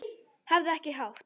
Hafðu ekki hátt!